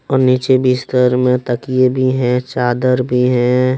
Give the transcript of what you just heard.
और नीचे बिस्तर में तकिए भी हैं चादर भी हैं।